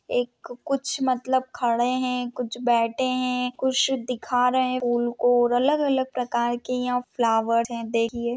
एक कुछ मतलब खड़े है कुछ बैठे है कुछ दिखा रहे है उन को अलग अलग प्रकार के यहा फ्लॉवर है देखिए।